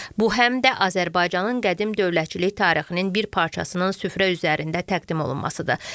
Bu həm də Azərbaycanın qədim dövlətçilik tarixinin bir parçasının süfrə üzərində təqdim olunmasıdır.